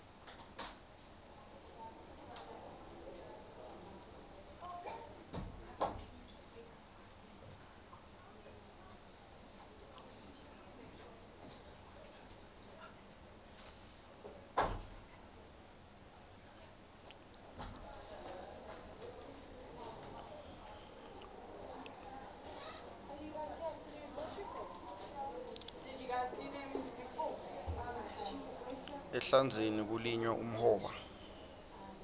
ehlandzeni kulinywa umhoba